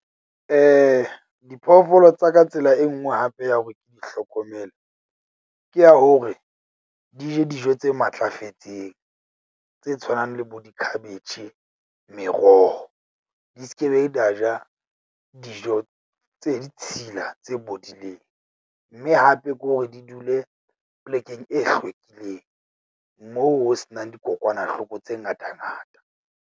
Diphoofolo tsa ka tsela e nngwe hape ya hore ke di hlokomele ke ya hore di je dijo tse matlafetseng, tse tshwanang le bo dikhabetjhe, meroho di skebe da ja dijo tse ditshila tse bodileng, mme hape ke hore di dule plekeng e hlwekileng. Moo ho se nang dikokwanahloko tse ngata ngata.